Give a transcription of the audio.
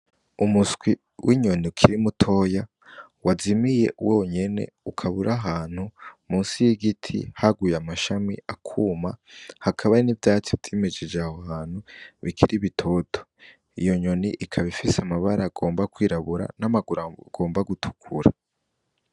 Umuswi w'inyoni ukiri mutoya wazimiye wonyene ukabura ahantu musi y'igiti haguye amashami akuma hakaba n'ivyacoimijije ahaantu bikira ibitoto iyo nyoni ikabifise amabara agomba kwirabura n'amaguru agomba gutukura.